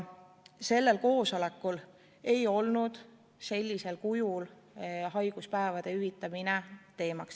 Sellel koosolekul ei olnud sellisel kujul haiguspäevade hüvitamine teemaks.